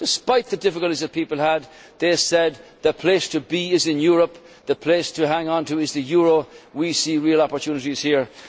Despite the difficulties that people had, they said the place to be is in Europe, the place to hang on to is the euro, we see real opportunities here'.